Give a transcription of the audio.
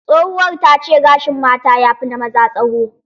Tsohuwar ta ce gashin mata yafi na maza tsawo.